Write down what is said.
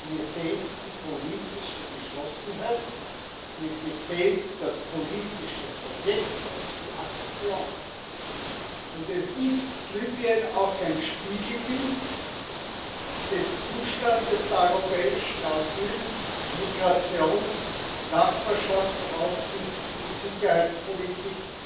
Mir fehlt die politische Geschlossenheit, mir fehlt das politische Projekt und die Aktion. Libyen ist auch ein Spiegelbild des Zustandes der europäischen Asyl—, Migrations Nachbarschafts Außen und Sicherheitspolitik,